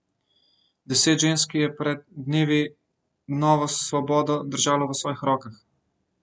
Deset žensk je pred dnevi novo svobodo držalo v svojih rokah.